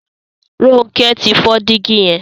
Ronke tí fọ Dígí yen.